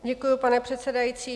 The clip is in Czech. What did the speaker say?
Děkuji, pane předsedající.